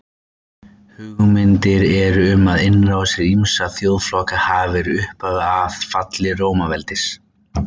Hugmyndir eru um að innrásir ýmissa þjóðflokka hafi verið upphafið að falli Rómaveldis.